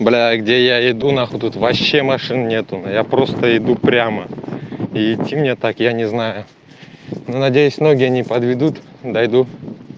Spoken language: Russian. бля где я иду на хуй тут вообще машин нету я просто иду прямо и идти мне так я не знаю надеюсь ноги не подведут дойду